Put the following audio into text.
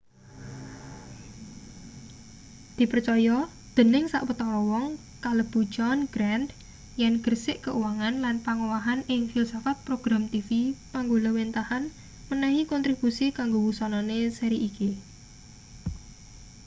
dipercaya dening sawetara wong kalebu john grant yen gersik keuangan lan pangowahan ing filsafat program tv panggulawênthahan menehi kontribusi kanggo wusanane seri iki